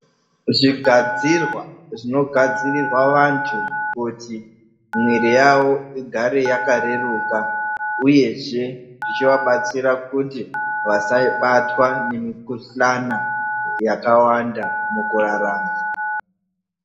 Zvigadzirwa zvinogadzirirwa vantu kuti mwiri yavo igare yakareruka, uyezve, ichivabatsira kuti vasabatwa nemikhuhlana yakawanda mukurarama.